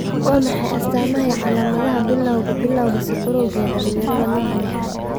Waa maxay astaamaha iyo calaamadaha Bilawga Bilawga sokorowga ee dhalinyarada, nooca lixad?